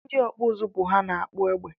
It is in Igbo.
Ndị ọkpụ ụzụ bụ ha na-akpụ egbe